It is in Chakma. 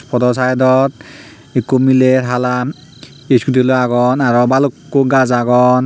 podoaw saidot ikko miley halan iskudi loi agon aro balukko gaaj agon.